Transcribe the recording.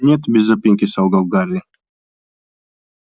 нет без запинки солгал гарри